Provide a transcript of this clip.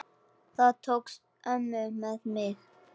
Það tókst ömmu með mig.